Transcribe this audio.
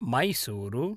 Mysuru